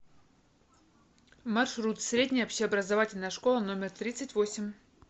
маршрут средняя общеобразовательная школа номер тридцать восемь